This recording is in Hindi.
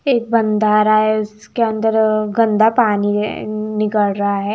एक है उसके अंदर गंदा पानी है निकल रहा है।